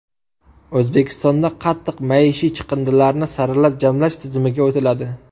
O‘zbekistonda qattiq maishiy chiqindilarni saralab jamlash tizimiga o‘tiladi.